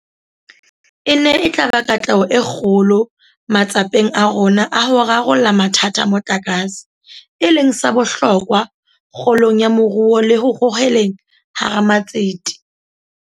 Ena e tla ba katleho e kgolo matsapeng a rona a ho rarolla mathata a motlakase, e leng sa bohlokwa kgolong ya moruo le ho hoheleng bo ramatsete.